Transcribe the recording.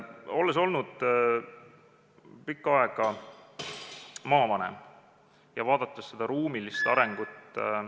Olles olnud pikka aega maavanem ja vaadates seda ruumilist arengut ...